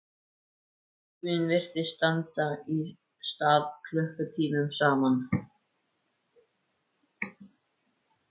Tíminn virtist standa í stað klukkutímum saman.